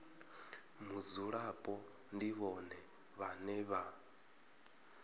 mudzulapo ndi vhone vhane vha